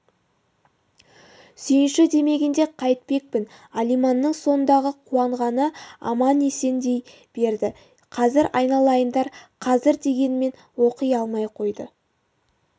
сүйінші демегенде қайтпекпін алиманның сондағы қуанғаны-ай аман-есен дей берді қазір айналайындар қазір дегенімен оқи алмай қойды